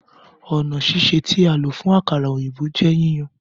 Ọna sise ti a lo fun akara oyinbo jẹ yíyan.